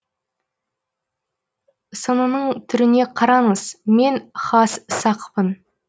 сынының түріне қараңыз мен хас сақпын